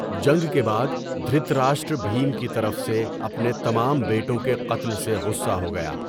جنگ کے بعد، دھریتراشٹر بھیم کی طرف سے اپنے تمام بیٹوں کے قتل سے غصّہ ہو گیا۔